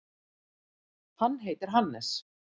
Hann heitir Hannes.